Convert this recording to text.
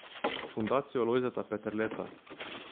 Fundacijo Lojzeta Peterleta.